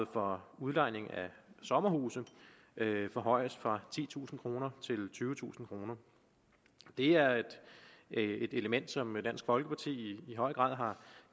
for udlejning af sommerhuse forhøjes fra titusind kroner til tyvetusind kroner det er et element som dansk folkeparti i høj grad har